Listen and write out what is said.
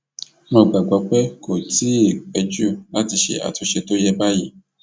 mo gbàgbọ pé kò tí ì ì pẹ jù láti ṣe àtúnṣe tó yẹ báyìí